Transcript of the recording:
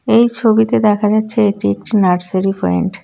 এই ছবিতে দেখা যাচ্ছে এটি একটি নার্সারি পয়েন্ট .